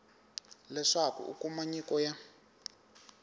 leswaku u kuma nyiko ya